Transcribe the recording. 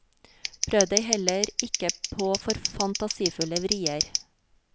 Prøv deg heller ikke på for fantasifulle vrier.